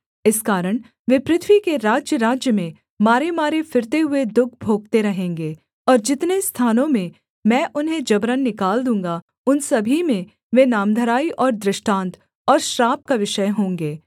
इस कारण वे पृथ्वी के राज्यराज्य में मारेमारे फिरते हुए दुःख भोगते रहेंगे और जितने स्थानों में मैं उन्हें जबरन निकाल दूँगा उन सभी में वे नामधराई और दृष्टांत और श्राप का विषय होंगे